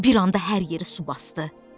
Bir anda hər yeri su basdı.